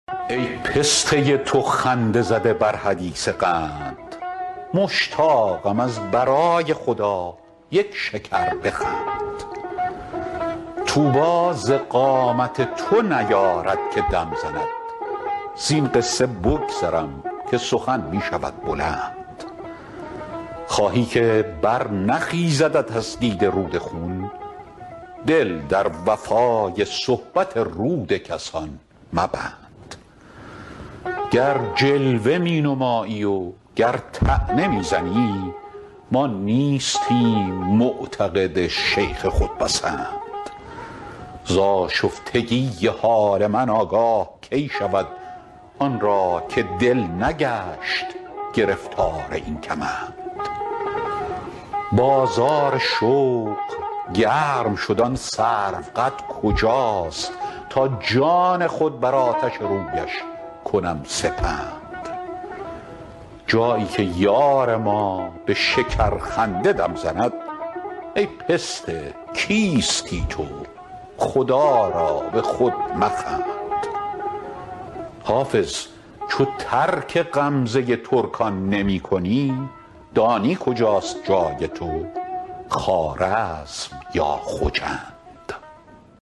ای پسته تو خنده زده بر حدیث قند مشتاقم از برای خدا یک شکر بخند طوبی ز قامت تو نیارد که دم زند زین قصه بگذرم که سخن می شود بلند خواهی که برنخیزدت از دیده رود خون دل در وفای صحبت رود کسان مبند گر جلوه می نمایی و گر طعنه می زنی ما نیستیم معتقد شیخ خودپسند ز آشفتگی حال من آگاه کی شود آن را که دل نگشت گرفتار این کمند بازار شوق گرم شد آن سروقد کجاست تا جان خود بر آتش رویش کنم سپند جایی که یار ما به شکرخنده دم زند ای پسته کیستی تو خدا را به خود مخند حافظ چو ترک غمزه ترکان نمی کنی دانی کجاست جای تو خوارزم یا خجند